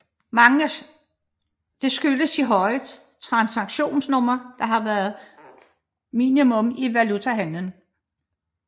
Dette skyldes de høje transaktionssummer der har været minimum i valutahandlen